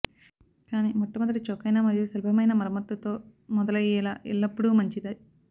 కానీ మొట్టమొదటి చౌకైన మరియు సులభమయిన మరమ్మతుతో మొదలయ్యేలా ఎల్లప్పుడూ మంచిది